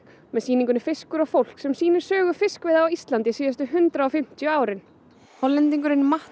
með sýningunni fiskur og fólk sem sýnir sögu fiskveiða á Íslandi síðustu hundrað og fimmtíu árin Hollendingurinn Matt